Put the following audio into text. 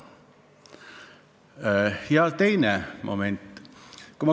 Ja teine moment.